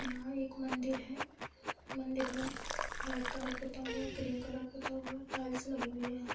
यहाँ एक मंदिर है। मंदिर में रेड कलर पुता हुआ है। क्रीम कलर पुता हुआ है टाइल्स लगी हुई है यहाँ।